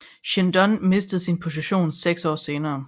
Shin Don mistede sin position seks år senere